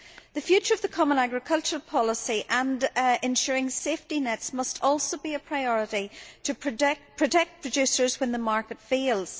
The future of the Common Agricultural Policy, and ensuring safety nets', must also be a priority in order to protect producers when the market fails.